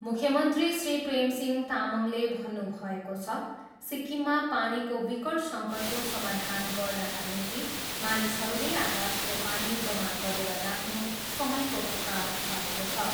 मुख्यमन्त्री श्री प्रेमसिंह तामाङले भन्नुभएको छ, सिक्किममा पानीको विकट सङ्कटको समाधान गर्नाका निम्ति मानिसहरूले आकाशको पानी जमा गरेर राख्नु समयको पुकार भएको छ।